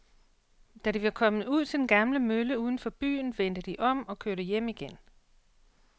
Da de var kommet ud til den gamle mølle uden for byen, vendte de om og kørte hjem igen.